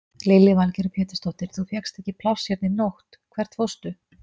Lillý Valgerður Pétursdóttir: Þú fékkst ekki pláss hérna í nótt, hvert fórstu?